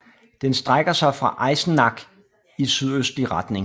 Den strækker sig fra Eisenach i sydøstlig retning